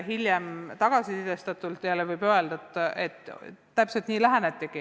Hilisema tagasiside põhjal võib öelda, et täpselt nii lähenetigi.